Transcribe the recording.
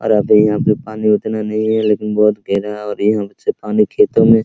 और आगे यहाँ पे पानी उतना नहीं हैबहुत गहरा है और यहां से पानी खेतो मे --